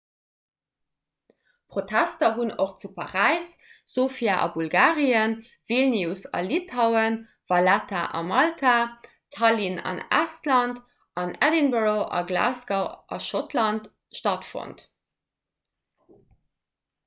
protester hunn och zu paräis sofia a bulgarien vilnius a litauen valetta a malta tallinn an estland an edinburgh a glasgow a schottland stattfonnt